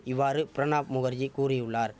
இவ்வாறு பிரணாப் முகர்ஜி கூறியுள்ளார்